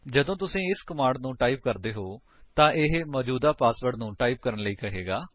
ਜਦੋਂ ਤੁਸੀ ਇਸ ਕਮਾਂਡ ਨੂੰ ਟਾਈਪ ਕਰਦੇ ਹੋ ਤਾਂ ਇਹ ਮੌਜੂਦਾ ਪਾਸਵਰਡ ਨੂੰ ਟਾਈਪ ਕਰਨ ਲਈ ਕਹੇਗਾ